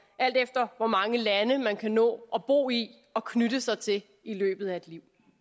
alt efter hvor mange lande man kan nå at bo i og knytte sig til i løbet af et liv